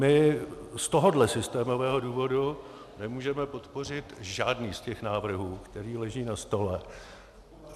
My z tohohle systémového důvodu nemůžeme podpořit žádný z těch návrhů, který leží na stole.